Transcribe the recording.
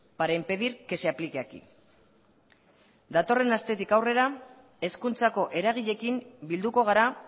para impedir que se aplique aquí datorren astetik aurrera hezkuntzako eragileekin bilduko gara